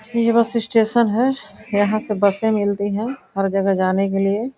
यह bus station है यहां से बसें मिलती हैं हर जगह जाने के लिए।